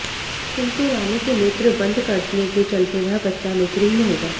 किंतु रानी के नेत्र बंद करने के चलते वह बच्चा नेत्रहीन होगा